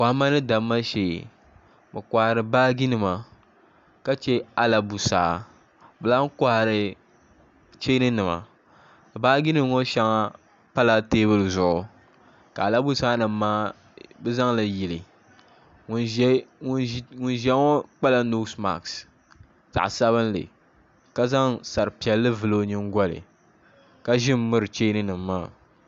Kohamma ni damma shee bi kohari baaji nima ka chɛ alabusaa bi lahi kohari cheeni nima baaji nim ŋo shɛŋapala teebuli zuɣu ka alabusaa nima maa bi zaŋli yili ŋun ʒiya ŋo kpala noosi maskzaɣ sabinli ka zaŋ sari piɛlli vuli o nyingoli ka ʒi miri cheeni nima maa